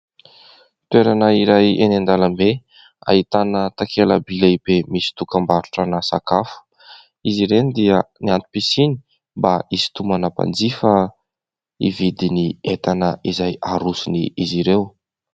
Toerana iray eny an-dàlambe. Ahitana takela-by lehibe misy dokam-barotra ana sakafo. Izy ireny dia ny antom-pisiany mba hisitomana mpanjifa hividy ny entana izay aroson'izy ireo.